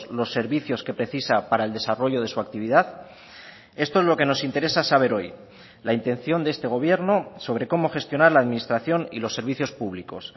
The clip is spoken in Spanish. los servicios que precisa para el desarrollo de su actividad esto es lo que nos interesa saber hoy la intención de este gobierno sobre cómo gestionar la administración y los servicios públicos